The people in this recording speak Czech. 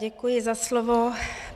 Děkuji za slovo.